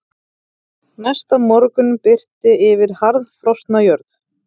Næsta morgun birti yfir harðfrosna jörð.